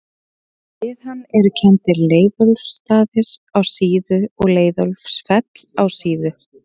Við hann eru kenndir Leiðólfsstaðir á Síðu og Leiðólfsfell á Síðu.